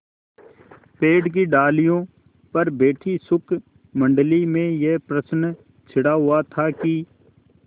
पेड़ की डालियों पर बैठी शुकमंडली में यह प्रश्न छिड़ा हुआ था कि